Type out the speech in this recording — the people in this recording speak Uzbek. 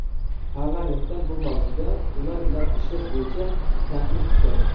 Parlamentdan bu mavzuda, ular bilan ishlash bo‘yicha taklif kutgandim.